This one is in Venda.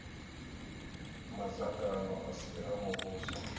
madzangano a si a muvhuso